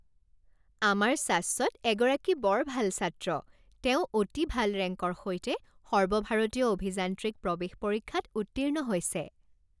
আমাৰ শাশ্বত এগৰাকী বৰ ভাল ছাত্ৰ! তেওঁ অতি ভাল ৰেংকৰ সৈতে সৰ্বভাৰতীয় অভিযান্ত্ৰিক প্ৰৱেশ পৰীক্ষাত উত্তীৰ্ণ হৈছে।